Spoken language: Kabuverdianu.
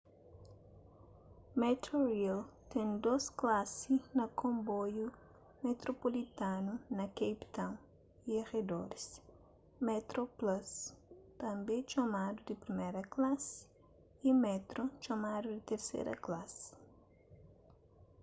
metrorail ten dôs klasi na konboiu metropulitanu na cape town y aredoris: metroplus tanbê txomadu di priméra klasi y metro txomadu di terséra klasi